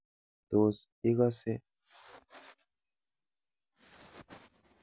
Tos, igase?